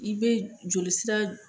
I be joli sira